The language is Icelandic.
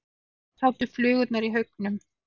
Þar sátu flugurnar í haugum.